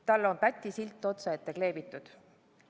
Talle on pätisilt otsaette kleebitud.